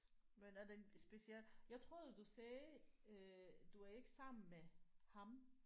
Men er den speciel jeg troede du sagde øh du var ikke sammen med ham